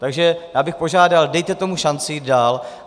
Takže já bych požádal, dejte tomu šanci jít dál.